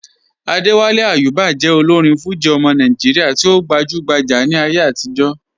Adéwálé Àyùbá jẹ́ òlórin Fújì ọmọ Nàìjíríà tí o gbajúgbájá ní ayé àtìjọ́.